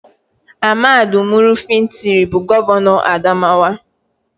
AHMADU UMARU FINTIRI bụ Gọvanọ Adamawa